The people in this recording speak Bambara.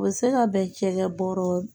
U bɛ se ka bɛn cɛkɛ bɔɔrɔ